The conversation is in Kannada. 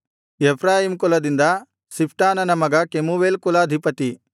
ಎಫ್ರಾಯೀಮ್ ಕುಲದಿಂದ ಶಿಫ್ಟಾನನ ಮಗ ಕೆಮೂವೇಲ್ ಕುಲಾಧಿಪತಿ